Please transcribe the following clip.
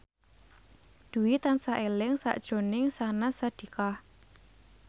Dwi tansah eling sakjroning Syahnaz Sadiqah